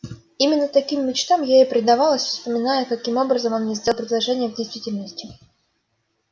именно таким мечтам я и предавалась вспоминая каким образом он мне сделал предложение в действительности